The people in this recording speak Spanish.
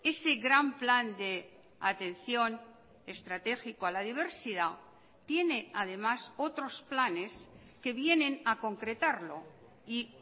ese gran plan de atención estratégico a la diversidad tiene además otros planes que vienen a concretarlo y